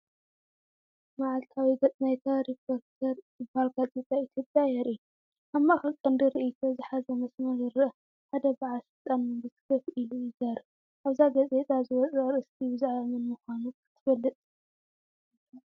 መዓልታዊ ገጽ ናይታ "ሪፖርተር" እትበሃል ጋዜጣ ኢትዮጵያ የርኢ። ኣብ ማእከል ቀንዲ ርእይቶ ዝሓዘ መስመር ይርአ፣ ሓደ በዓል ስልጣን መንግስቲ ኮፍ ኢሉ ይዛረብ። ኣብዛ ጋዜጣ ዝወጸ ኣርእስቲ ብዛዕባ መን ምዃኑ ክትፈልጥ ክኢልካ ዲኻ?